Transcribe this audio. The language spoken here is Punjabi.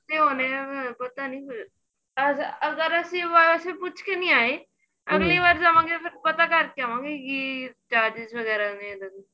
ਤੇ ਹੋਣੇ ਪਤਾ ਨੀਂ ਫੇਰ ਅੱਜ ਅਗਰ ਅਸੀਂ ਪੁੱਛ ਕੇ ਨੀਂ ਆਏ ਜਾਵਾ ਗਏ ਫੇਰ ਪਤਾ ਕਰ ਕੇ ਆਵਾ ਗੇ ਕਿ charges ਵਗੈਰਾ ਨੇ ਇਹਦੇ ਵਿੱਚ